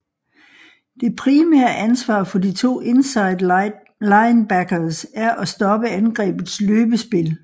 Det primære ansvar for de to inside linebackers er at stoppe angrebets løbespil